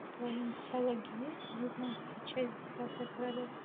в твоем каталоге есть девятнадцатая часть десятое королевство